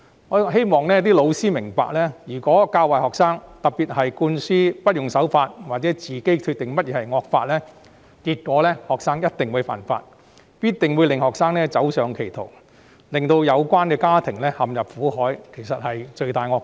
我希望教師明白，如果他們教壞學生，特別是向學生灌輸無須守法或可自行決定何謂惡法的概念，學生便一定會犯法，亦一定會走上歧途，令他們的家庭陷入苦海，這樣教師真的是罪大惡極。